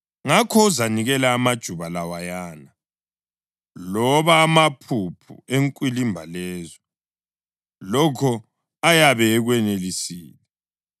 Ngakho uzanikela ngamajuba lawayana loba amaphuphu enkwilimba lezo, lokho ayabe ekwenelisile,